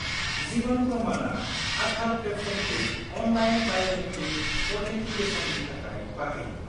जिभन प्रमाना आधार प्लेटफर्मखौ online biometric अ'थेनटिकेसननि थाखाय बाहायो।